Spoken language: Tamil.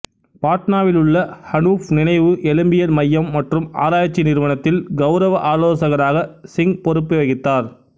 பாட்னாவிலுள்ள அனூப் நினைவு எலும்பியல் மையம் மற்றும் ஆராய்ச்சி நிறுவனத்தில் கவுரவ ஆலோசகராக சிங் பொறுப்பு வகித்தார்